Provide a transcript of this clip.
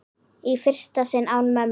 Í fyrsta sinn án mömmu.